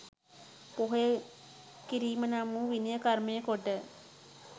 පොහොය කිරීම නම් වූ විනය කර්මය කොට